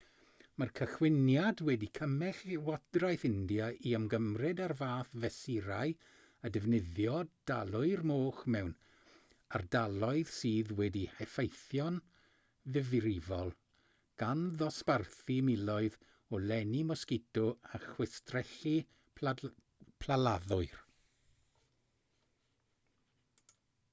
mae'r cychwyniad wedi cymell llywodraeth india i ymgymryd â'r fath fesurau â defnyddio dalwyr moch mewn ardaloedd sydd wedi'u heffeithio'n ddifrifol gan ddosbarthu miloedd o lenni mosgito a chwistrellu plaladdwyr